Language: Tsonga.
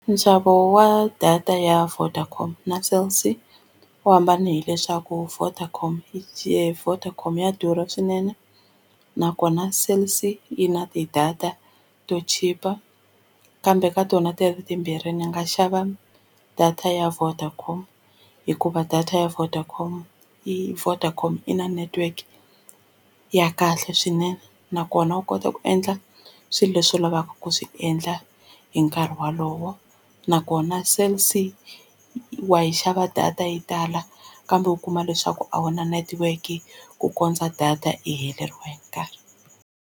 Nxavo wa data ya Vodacom na Cell C wu hambani hileswaku Vodacom ya Vodacom ya durha swinene nakona Cell C yi na ti-data to chipa kambe ka tona ti ri timbirhi ni nga xava data ya Vodacom hikuva data ya Vodacom i Vodacom i na network ya kahle swinene nakona u kota ku endla swilo leswi u lavaka ku swi endla hi nkarhi walowo nakona Cell C wa yi xava data yi tala kambe u kuma leswaku a wu na network ku kondza data i heleriwe hi nkarhi.